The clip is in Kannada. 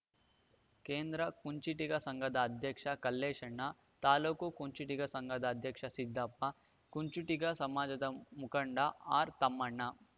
ಕೇಂದ್ರ ಕುಂಚಿಟಿಗ ಸಂಘದ ಅಧ್ಯಕ್ಷ ಕಲ್ಲೇಶಣ್ಣ ತಾಲೂಕು ಕುಂಚಿಟಿಗ ಸಂಘದ ಅಧ್ಯಕ್ಷ ಸಿದ್ದಪ್ಪ ಕುಂಚಿಟಿಗ ಸಮಾಜದ ಮುಖಂಡ ಆರ್‌ತಮಣ್ಣ